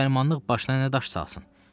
Müsəlmanlıq başına nə daş salsın?